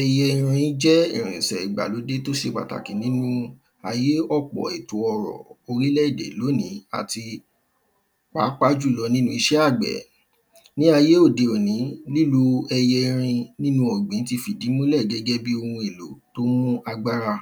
Ẹyẹ erin jẹ́ irinṣẹ́ ìgbàlódé tí ó ṣe pàtàkì nínú ayé ọpọ̀ ètò ọrọ̀ orílẹ̀ èdè lónìí àti pàápàá jù lọ nínú iṣẹ́ àgbẹ̀ Ní ayé òde òní lílò ẹyẹ erin nínú ọ̀gbìn ti fìdímúlẹ̀ gẹ́gẹ́ bíi oun èlò tí ó ń mú agbára